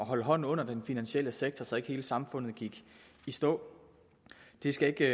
holde hånden under den finansielle sektor så ikke hele samfundet gik i stå det skal ikke